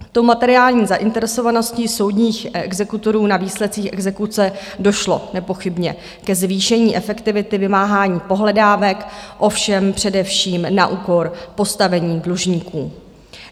Tou materiální zainteresovaností soudních exekutorů na výsledcích exekuce došlo nepochybně ke zvýšení efektivity vymáhání pohledávek, ovšem především na úkor postavení dlužníků.